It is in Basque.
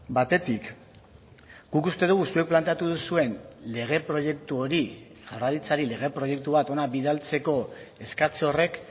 batetik guk uste dugu zuek planteatu duzuen lege proiektu hori jaurlaritzari lege proiektu bat hona bidaltzeko eskatze horrek